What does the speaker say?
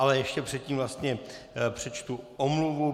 Ale ještě předtím vlastně přečtu omluvu.